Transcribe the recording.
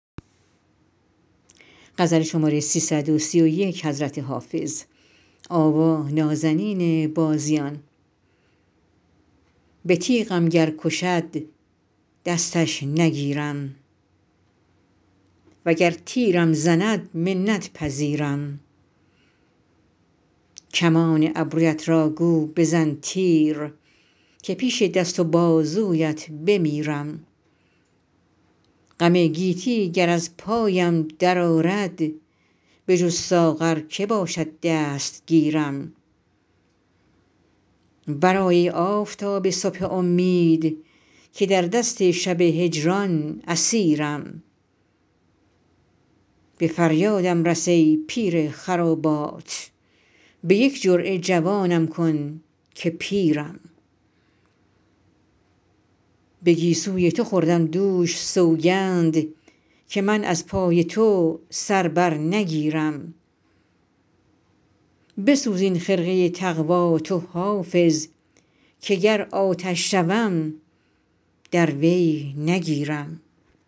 به تیغم گر کشد دستش نگیرم وگر تیرم زند منت پذیرم کمان ابرویت را گو بزن تیر که پیش دست و بازویت بمیرم غم گیتی گر از پایم درآرد بجز ساغر که باشد دستگیرم برآی ای آفتاب صبح امید که در دست شب هجران اسیرم به فریادم رس ای پیر خرابات به یک جرعه جوانم کن که پیرم به گیسوی تو خوردم دوش سوگند که من از پای تو سر بر نگیرم بسوز این خرقه تقوا تو حافظ که گر آتش شوم در وی نگیرم